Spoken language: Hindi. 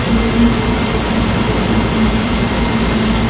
कोई तीन सौ पचपन का कोई तीन सौ पछतर का है।